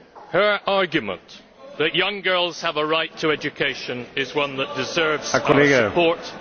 Her argument that young girls have a right to education is one that deserves our support.